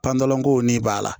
Panpanlan ko ni b'a la